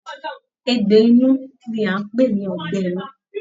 Egbò inú ní a n pé ní ọgbẹ inú.